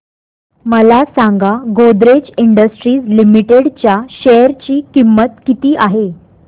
मला सांगा Godrej industries limited च्या शेअर ची किंमत किती आहे